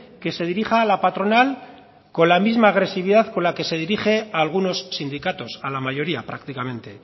que se dirija a la patronal con la misma agresividad con la que se dirige a algunos sindicatos a la mayoría prácticamente